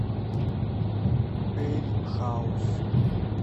эль хаус